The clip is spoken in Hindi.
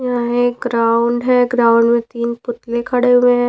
यहां एक ग्राउंड है ग्राउंड मे तीन पुतले खड़े हुएं हैं।